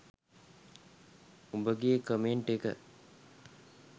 උඹගේ comment එක.